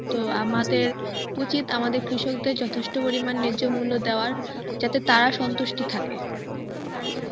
তো আমাদের উচিত আমাদের কৃষকদের যথেষ্ট পরিমাণ ন্যায্য মূল্য দাওয়ার যাতে তারা সন্তুষ্টি থাকে